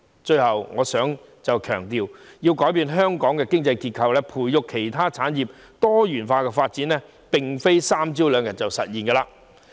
最後，我想強調，要改變香港的經濟結構，以及培育其他產業以作多元化發展，並非一朝一夕便能實現的事。